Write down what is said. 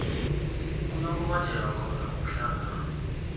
kuyokubanjelwa khona umhlangano